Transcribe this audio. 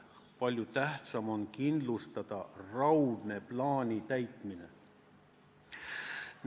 Palju tähtsam on kindlustada raudne plaani täitmine.